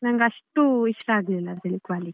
ನಂಗೆ ಅಷ್ಟು ಇಷ್ಟ ಆಗ್ಲಿಲ್ಲ ಅದ್ರಲ್ಲಿ quality.